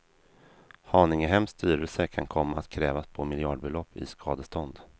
Haningehems styrelse kan komma att krävas på miljardbelopp i skadestånd.